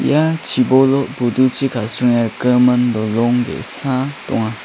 ia chibolo buduchi kasringe rikgimin dolong ge·sa donga.